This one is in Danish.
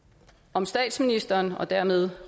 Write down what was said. om statsministeren og dermed